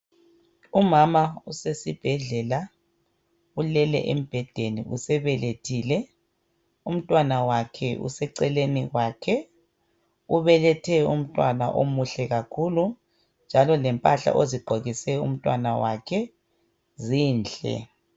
Umama usesibhedlela ulele embhedeni usebelethile. Umntwana wakhe useceleni kwakhe .Ubelethe umntwana omuhle kakhulu njalo lempahla ozigqokise umntwana wakhe zinhle.